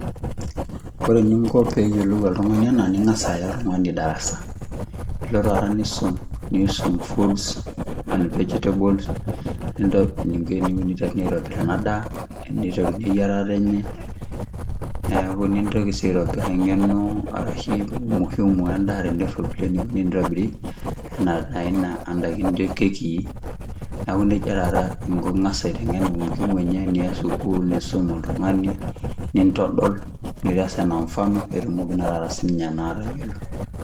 Ore eninko peyiolou oltungani ena ningas aya oltungani darasa , nilo tata nisum foods and vegetables , eniko tenitobiri enadaa ,eniteruni eyierata enye , nintoki si aitobir engeno ashu muhimu endaa enioni tenitobiri ndaiki naijo kekii , niaku nejia tata inko.